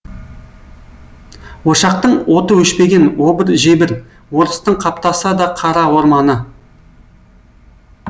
ошақтың оты өшпеген обыр жебір орыстың қаптаса да қара орманы